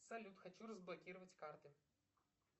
салют хочу разблокировать карты